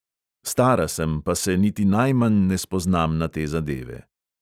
Stara sem, pa se niti najmanj ne spoznam na te zadeve.